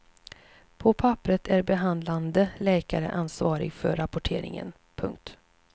På papperet är behandlande läkare ansvarig för rapporteringen. punkt